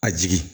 A jigin